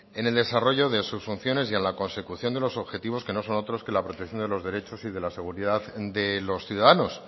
en el desarrollo de sus funciones y en la consecución de los objetivos que no son otros que la protección de los derechos y de la seguridad de los ciudadanos